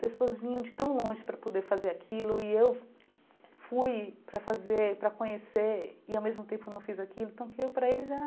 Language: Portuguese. Pessoas vinham de tão longe para poder fazer aquilo e eu fui para fazer para conhecer e, ao mesmo tempo, não fiz aquilo, então aquilo para eles era...